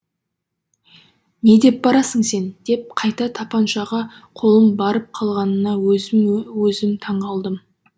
не деп барасың сен деп қайта тапаншаға қолым барып қалғанына өзіме өзім таң қалдым